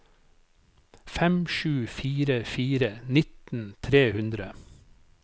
fem sju fire fire nitten tre hundre